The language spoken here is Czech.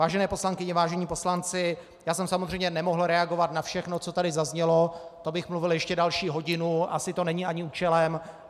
Vážené poslankyně, vážení poslanci, já jsem samozřejmě nemohl reagovat na všechno, co tady zaznělo, to bych mluvil ještě další hodinu, asi to není ani účelem.